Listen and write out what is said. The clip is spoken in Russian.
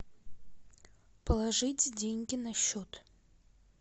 положить деньги на счет